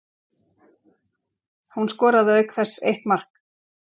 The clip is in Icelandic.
Hún skoraði auk þess eitt mark